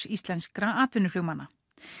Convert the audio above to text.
íslenskra atvinnuflugmanna